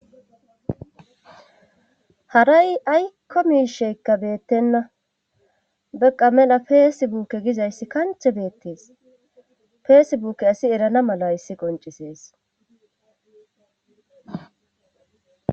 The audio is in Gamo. haray aykko misheykka beettenna beqa mela peesebuukke gizayssi kanche beettees feesebuuke asi erana mala hayissi qoncisees